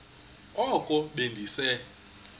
oko be ndise